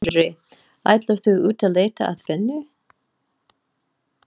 Sindri: Ætlar þú út að leita að vinnu?